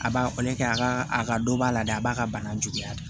A b'a kɔli kɛ a ka a ka dɔ b'a la dɛ a b'a ka bana juguya da